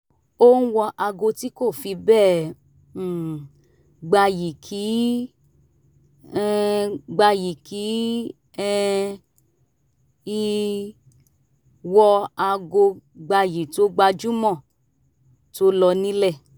ó ń wọ aago tí kò fi bẹ́ẹ̀ um gbayì kì um gbayì kì um í wọ aago gbayì tó gbajúmọ̀ tó lọ nílẹ̀